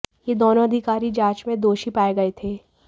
ये दोनों अधिकारी जांच में दोषी पाए गए थे